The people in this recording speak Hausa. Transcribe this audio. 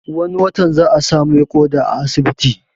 Wani watan za a sa mai ƙoda a asibiti